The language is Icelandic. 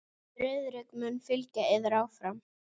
Friðrik mun fylgja yður áfram.